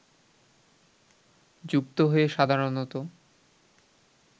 যুক্ত হয়ে সাধারণত